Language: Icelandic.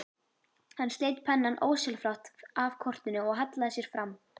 Hann sleit pennann ósjálfrátt af kortinu og hallaði sér fram.